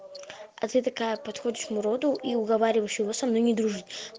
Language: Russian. а ты такая подходишь к муроду и уговариваешь его со мной не дружишь